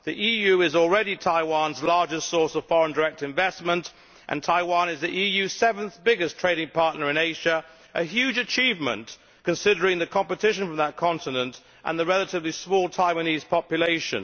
The EU is already Taiwan's largest source of foreign direct investment and Taiwan is the EU's seventh biggest trading partner in Asia, a huge achievement considering the competition from that continent and the relatively small Taiwanese population.